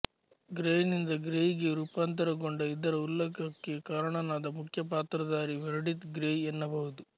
ಗ್ರೇನಿಂದ Grey ಗೆ ರೂಪಾಂತರಗೊಂಡ ಇದರ ಉಲ್ಲಖಕ್ಕೆ ಕಾರಣನಾದ ಮುಖ್ಯಪಾತ್ರಧಾರಿ ಮೆರ್ಡಿತ್ ಗ್ರೆಯ್ ಎನ್ನಬಹುದು